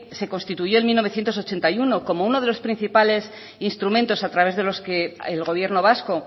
se constituyó en mil novecientos ochenta y uno como uno de los principales instrumentos a través de los que el gobierno vasco